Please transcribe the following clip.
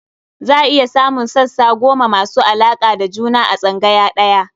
Za a iya samun sassa goma masu alaƙa da juna a tsangaya ɗaya.